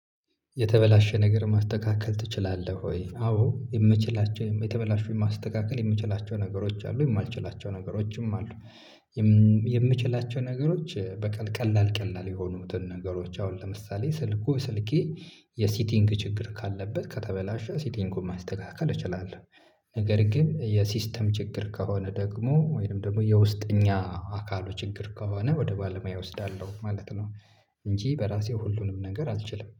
የተበላሸ ነገር ማስተካከል ትችላለህ ወይ? አዎ የምችላቸው የተበላሹ ማስተካከል የምችላቸው ነገሮች አሉ የማልችላቸው ነገሮችም አሉ። የምችላቸው ነገሮች ቀላል ቀላል የሆኑትን ነገሮች አሁን ለምሳሌ ስልኩ ስልኬ የሲቲንግ ችግር ካለበት ከተበላሸ ሲቲንግ ማስተካከል እችላለሁ። ነገር ግን የሲስተም ችግር ከሆነ ደግሞ ወይም ደግሞ የውስጠኛ አካሉ ችግር ከሆነ ወደ ባለሙያ እወስዳለሁ ማለት ነው። እንጂ በራሴ ሁሉንም ነገር አልችልም